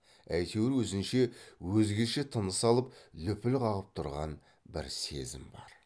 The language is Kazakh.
әйтеуір өзінше өзгеше тыныс алып лүпіл қағып тұрған бір сезім бар